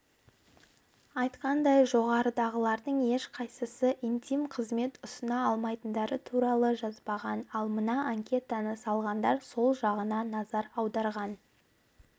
айтқандай жоғарыдағылардың ешқайсысы интим-қызмет ұсына алмайтындары туралы жазбаған ал мына анкетаны салғандар сол жағына назар аударған